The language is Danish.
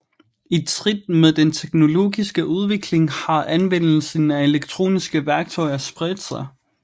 I trit med den teknologiske udvikling har anvendelsen af elektroniske værktøjer spredt sig